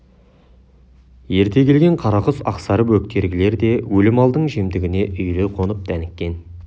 ерте келген қарақұс ақсары бөктергілер де өлі малдың жемтігіне үйіле қонып дәніккен